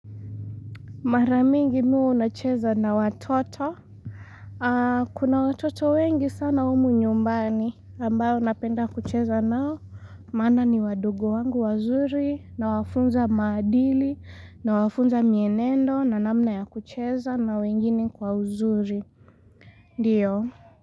Mara mingi mi huwa nacheza na watoto. Kuna watoto wengi sana humu nyumbani. Ambao napenda kucheza nao. Maana ni wadogo wangu wazuri nawafunza maadili nawafunza mienendo na namna ya kucheza na wengine kwa uzuri. Ndiyo.